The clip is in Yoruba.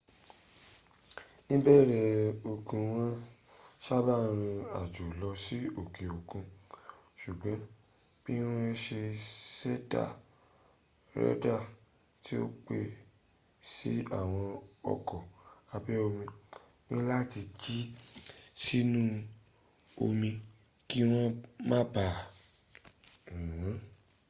níbẹ̀rẹ̀ ogun wọn sábà rín àjò lọ sí òkè òkun ṣùgbọ́n bí wọn ṣe n ṣẹ̀dá rédà tí ó pé si àwọn ọkọ̀ abẹ́ omi níláti jìn sínú omí kí wọ́n ma baà rí wọn